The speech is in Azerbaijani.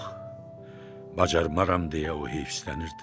Yox, bacarmaram deyə o heyfslənirdi.